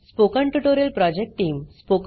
spoken tutorial project team